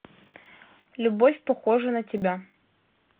любовь похожа на тебя